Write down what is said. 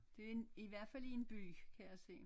Det en i hvert fald i en by kan jeg se